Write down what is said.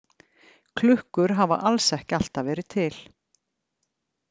Klukkur hafa alls ekki alltaf verið til.